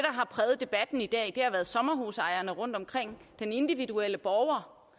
har præget debatten i dag har været sommerhusejerne rundtomkring og den individuelle borger